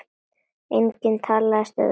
Engin talstöð var í bílnum.